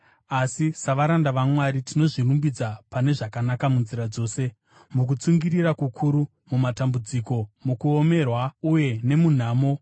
Asi savaranda vaMwari tinozvirumbidza pane zvakanaka munzira dzose: mukutsungirira kukuru, mumatambudziko, mukuomerwa, uye nemunhamo;